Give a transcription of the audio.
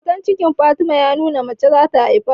Hoton cikin Fatima ya nuna mace za ta haifa